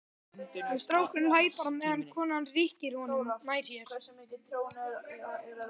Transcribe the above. En strákurinn hlær bara meðan konan rykkir honum nær sér.